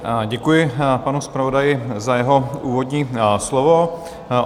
Děkuji panu zpravodaji za jeho úvodní slovo.